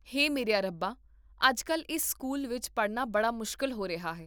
ਹੇ ਮੇਰਿਆ ਰੱਬਾ, ਅੱਜ ਕੱਲ੍ਹ ਇਸ ਸਕੂਲ ਵਿੱਚ ਪੜ੍ਹਨਾ ਬੜਾ ਮੁਸ਼ਕਲ ਹੋ ਰਿਹਾ ਹੈ